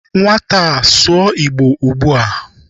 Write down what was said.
Nwata a, sụọ Igbo ugbu a!